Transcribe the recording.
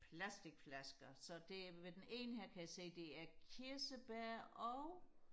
plastikflasker så det ved den ene her kan jeg se det er kirsebær og